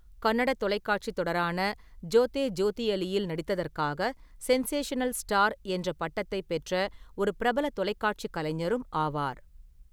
கன்னட தொலைக்காட்சி தொடரான ஜோதே ஜோதியலியில் நடித்ததற்காக 'சென்சேஷனல் ஸ்டார்' என்ற பட்டத்தை பெற்ற ஒரு பிரபல தொலைக்காட்சிக் கலைஞரும் ஆவார்.